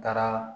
Taara